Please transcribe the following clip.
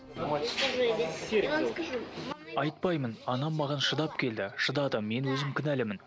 айтпаймын анам маған шыдап келді шыдады мен өзім кінәлімін